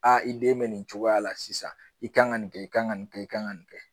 i den bɛ nin cogoya la sisan i kan ka nin kɛ i ka kan ka nin kɛ i ka kan ka nin kɛ